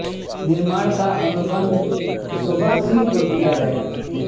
निर्माण का अनुबंध सोभा सिंह को दिया गया